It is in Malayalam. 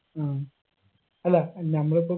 ആ അല്ല നമ്മളിപ്പൊ